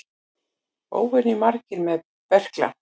Óvenju margir með berkla